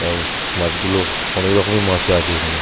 এবং মাছগুলো অনেক রকমের মাছই আছে এখানে ।